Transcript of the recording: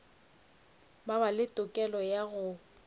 ba le tokelo ya go